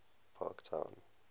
parktown